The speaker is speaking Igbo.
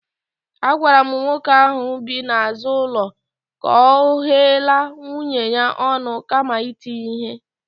Agwara m nwoke ahụ bi n'azụ ụlọ ka ọ ghela nwunye ya ọnụ kama iti ya ihe